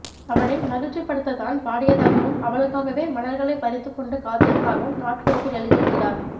அவளை மகிழ்ச்சிப்படுத்தத் தான் பாடியதாகவும் அவளுக்காகவே மலர்களைப் பறித்துக் கொண்டு காத்திருந்ததாகவும் நாட்குறிப்பில் எழுதியிருக்கிறார்